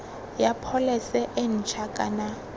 ya pholese e ntšha kana